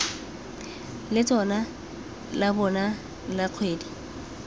letseno la bona la kgwedi